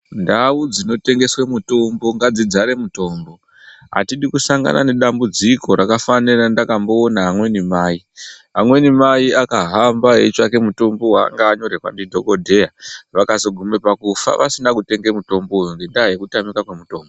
Ndau dzinotengeswe mutombo ngadzidzare mutombo. Hatidi kusangana nedambudziko rakafanana nerandakamboone amweni mai. Amweni mai akahamba eitsvake mutombo waanga vanyorerwa ndidhogodheya. Vakazoguma pakufa vasina kutenge mutombo ngendaa yekutamika kwemutimbo.